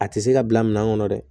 A tɛ se ka bila minan kɔnɔ dɛ